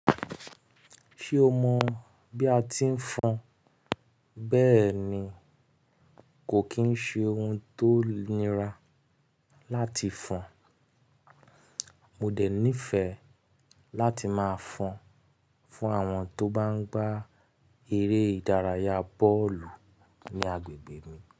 Ṣé o mọ bí a ti ń fọn? Bẹ́ẹ̀ ni, kò kì í ṣe ohun tó nira láti fọn. Mo dẹ̀ nífẹ̀ẹ́ láti máa fọn fún àwọn tó bá ń gbá eré ìdárayá bọ́ọ̀lù ní agbègbè mi.